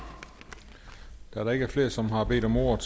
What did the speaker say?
da der ikke er flere som har bedt om ordet